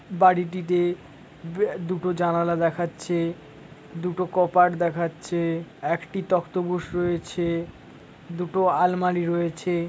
বাড়িটিতে দুটো জানালা দেখাচ্ছে-এ। দুটো কপাট দেখাচ্ছে-এ। একটি তক্তপোষ রয়েছে-এ। দুটো আলমারি রয়েছে-এ।